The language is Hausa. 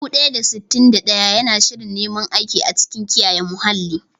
Dubu ɗaya da sittin da ɗaya yana shirin neman aiki a cikin kiyaye muhalli.